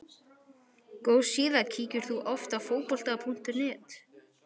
Góð síða Kíkir þú oft á Fótbolti.net?